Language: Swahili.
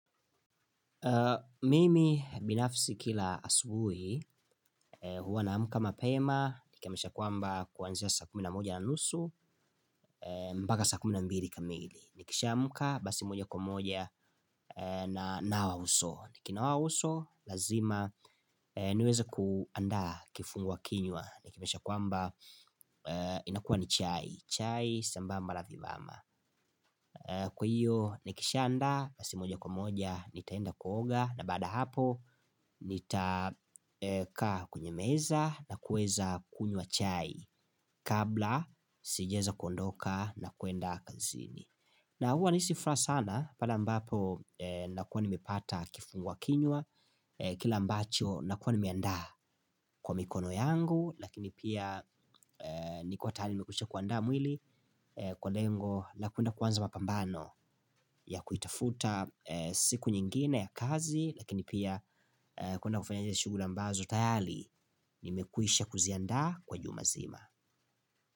Mimi binafisi kila asubuhi huwa naamka mapema nikamesha kwamba kuanzia saa kumi na moja na nusu mbaka saa kumi na mbiri kamili nikisha amka basi moja kwa moja nanawa uso nikinawa uso lazima niweza kuandaa kifungua kinywa nikamesha kwamba inakuwa ni chai chai sambamba la vivama Kwa hiyo nikishandaa basi moja kwa moja nitaenda kuoga na baada hapo nitakaa kwenye meza na kueza kunywa chai kabla sijaeza kuondoka na kuenda kazini na huwa nahisi furaha sana pale ambapo nakuwa nimepata kifungua kinywa, kile ambacho nakuwa nimeandaa kwa mikono yangu, lakini pia ni kwa taali nimekwisha kuandaa mwili kwa lengo la kuenda kuanza mapambano ya kuitafuta siku nyingine ya kazi, lakini pia kuenda kufanyaje shuguli ambazo tayali, nimekwisha kuziandaa kwa juma zima.